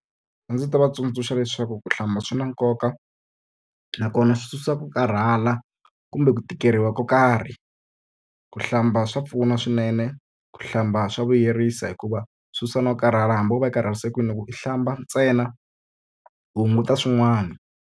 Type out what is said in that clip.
A ndzi ta va tsundzuxa leswaku ku hlamba swi na nkoka, nakona swi susa ku karhala kumbe ku tikeriwa ko karhi. Ku hlamba swa pfuna swinene, ku hlamba swa vuyerisa hikuva swi susa no karhala. Hambi wo va karhalise kwini loko u hlamba ntsena, u hunguta swin'wana.